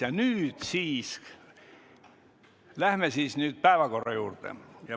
Ja nüüd siis läheme päevakorra juurde.